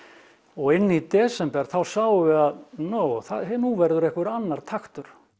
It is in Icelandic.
og inni í desember þá sáum við að nú verður einhver annar taktur